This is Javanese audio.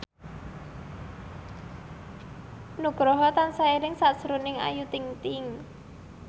Nugroho tansah eling sakjroning Ayu Ting ting